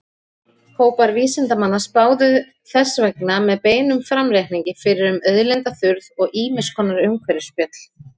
Hópar vísindamanna spáðu þess vegna með beinum framreikningi fyrir um auðlindaþurrð og ýmiss konar umhverfisspjöll.